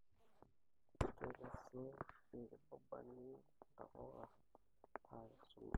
Kekesu inkibabani intapuka nakesuno